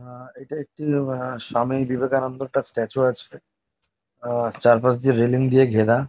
আহ এটা একটি আ স্বামী বিবেকানন্দর একটা স্ট্যাচু আছে আহ চারপাশ দিয়ে রেলিং দিয়ে ঘেরা।